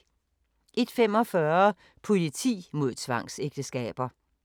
01:45: Politi mod tvangsægteskaber